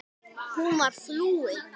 Hún var flúin.